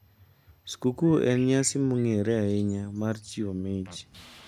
Skuku en nyasi mong`ere ahinya mar chiwo mich.